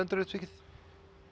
endurupptekið